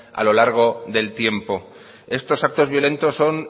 a lo largo del tiempo estos actos violentos son